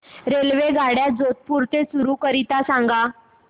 रेल्वेगाड्या जोधपुर ते चूरू करीता सांगा